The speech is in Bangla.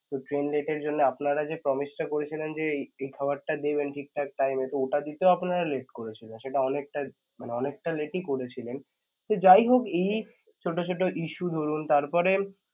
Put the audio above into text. late এর জন্য আপনারা যে promise টা করছিলেন যে এই খাবার টা দেবেন ঠিকঠাক time এ তো ওটা দিতেও আপনারা late করেছেন সেটা অনেকটা~ মানে অনেকটা late ই করেছিলেন তো যাইহোক এই~ ছোট ছোট issue তারপরে